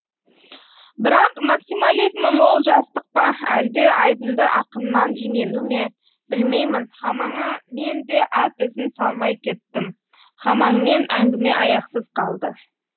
бірақ максимализмі мол жастық па әлде айдынды ақыннан имену ме білмеймін хамаңа мен де ат ізін салмай кеттім хамаңмен әңгіме аяқсыз қалды